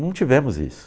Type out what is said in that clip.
Não tivemos isso.